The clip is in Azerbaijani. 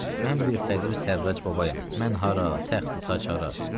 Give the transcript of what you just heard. Mən bir fəqir Sərrac babayam, mən hara təxtü taxt hara.